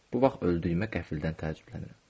Bu vaxt öldüyümə qəfildən təəccüblənirəm.